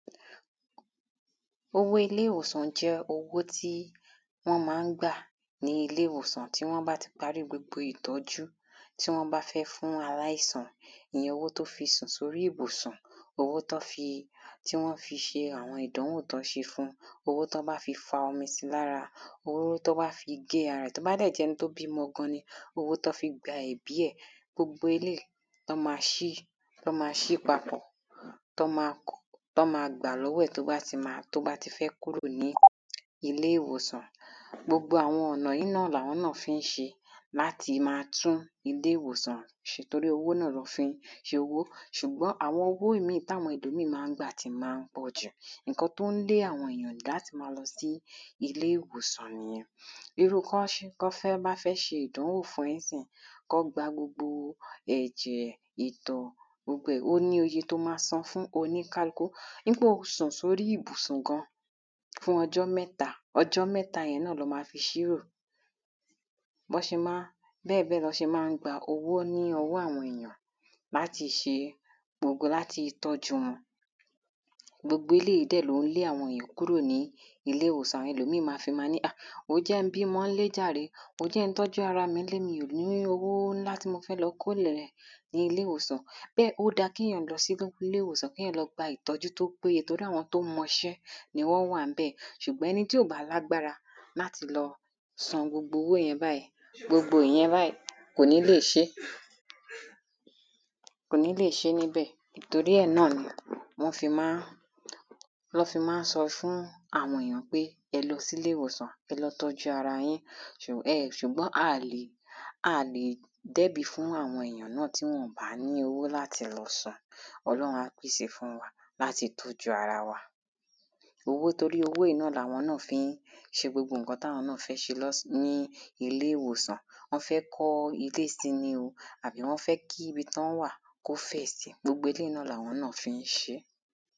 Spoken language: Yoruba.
Owó ilé ìwòsàn jẹ́ owó tí wọ́n má ń gbà ní ilé ìwòsàn tí wọ́n bá ti parí gbogbo ìtọ́jú. Tí wọ́n bá fẹ́ fún aláìsàn ní owó tí ó fi sùn sí orí ìbùsùn owó tán fi tí wọ́n fi ṣe àwọn ìdánwò tí wọ́n ṣe fún owó tán bá fi fa omi sí ara rẹ̀ owó tán fi gé ara rẹ̀ tó bá dẹ̀ jẹ́ ẹni tó bímọ gan ni owó tán fi gba ẹ̀bí ẹ̀ gbogbo eléèyí lán má ṣí tán má ṣí papọ̀ tán má tán má gbà lọ́wọ́ ẹ̀ tó bá ti má tó bá ti fẹ́ kúrò nílé ìwòsàn. Gbogbo àwọn ọ̀nà yìí náà làwọn náà fí ń ṣe láti má tún ilé ìwòsàn ṣe tórí owó náà ná fí ń ṣowó ṣùgbọ́n àwọn owó mí táwọn ẹlòmíì má ń gbà tí má ń pọ̀jù nǹkan tó ń lé àwọn ènìyàn láti má lọ sílé ìwòsàn nìyẹn. Irú kán kán bá fẹ́ ṣe ìdánwò fún ẹ̀ ńsìnyí kán gba gbogbo ẹ̀jẹ̀ ìtọ̀ gbogbo ẹ̀ ó níye tó má san fún oníkákú wípé o sùn sórí ìbùsùn gan fún ọjọ́ mẹ́ta ọjọ́ mẹ́ta yẹn náà ná má fi ṣírò bọ́ ṣe má ń bẹ́ẹ̀ bẹ́ẹ̀ ná ṣe má ń gbowó lọ́wọ́ àwọn èyàn láti ṣe láti tọ́jú. Gbogbo eléèyí dẹ̀ ló ń lé àwọn ènìyàn kúrò nílé ìwòsàn àwọn mí á ní ọ̀ wòó jẹ́ ń bímọ ńlé jàre wòó jẹ́ ń tọ́jú ara mi ńlé mi ò lówó ńlá tí mo fẹ́ lọ kólẹ̀ ní ilé ìwòsàn. Pé ó dá kéyàn lọ sílé ìwòsàn kéyàn lọ gba ìtọ́jú tó tọ́ torí àwọn tó mọṣẹ́ ni wọ́n wà ńbẹ̀ ṣùgbọ́n ẹni tí ò bá lágbára láti lọ san gbogbo owó yẹn báyìí gbogbo ìyẹn kò ní lè ṣé kò ní lè ṣé níbẹ̀ torí ẹ̀ náà ná fi má ń torí ẹ̀ náà ná fi má ń sọ fún àwọn ènìyàn pé ẹ lọ sílé ìwòsàn ẹ lọ tọ́jú ara yín. ẹ ṣùgbọ́n a lè dẹ́bi fún àwọn èyàn nígbàtí wọn ò bá ní owó láti san ọlọ́run á pèsè fún wa láti tọ́jú ara wa. Owó torí owó yìí làwọn náà ń fí ṣe gbogbo nǹkan táwọn náà fẹ́ ṣe nílé ìwòsàn wọ́n fẹ́ kọ́ ilé sí ni àbí wọ́n fẹ́ kí ibi tán wà kó fẹ̀ sí gbogbo eléèyí làwọn náà fí ń ṣé.